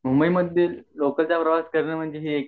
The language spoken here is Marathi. लोक प्रवास करणे म्हणजे हे